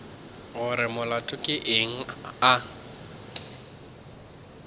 gore molato ke eng a